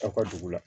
Aw ka dugu la